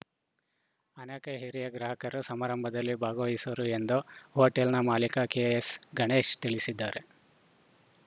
ಅನೇಕ ಹಿರಿಯ ಗ್ರಾಹಕರು ಸಮಾರಂಭದಲ್ಲಿ ಭಾಗವಹಿಸುವರು ಎಂದು ಹೊಟೆಲ್‌ನ ಮಾಲೀಕ ಕೆಎಸ್‌ಗಣೇಶ ತಿಳಿಸಿದ್ದಾರೆ